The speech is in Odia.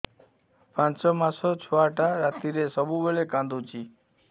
ପାଞ୍ଚ ମାସ ଛୁଆଟା ରାତିରେ ସବୁବେଳେ କାନ୍ଦୁଚି